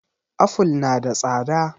Aful na da tsada